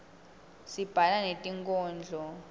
sibhala netinkhondlo